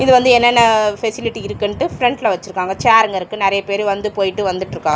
இங்க வந்து என்னென்ன ஃபெசிலிட்டி இருக்குன்டு ஃபிரண்ட்ல வச்சிருக்காங்க சேர்ருங்க இருக்கு நறைய பேரு வந்து போயிட்டு வந்துட்ருக்கா--